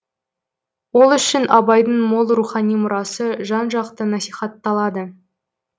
ол үшін абайдың мол рухани мұрасы жан жақты насихатталады